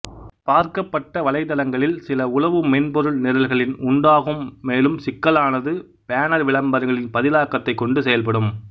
பார்க்கப்பட்ட வலைத்தளங்களில் சில உளவு மென்பொருள் நிரல்களின் உண்டாகும் மேலும் சிக்கலானது பேனர் விளம்பரங்களின் பதிலாக்கத்தைக் கொண்டு செயல்படும்